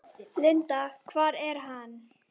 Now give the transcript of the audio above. Linda: Hvar er hann?